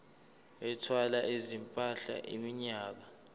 ethwala izimpahla iminyaka